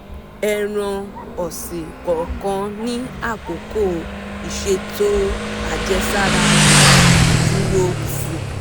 eràn-ósin kòòkàn ni àkókò iṣètó àjèsàrà rè - duró si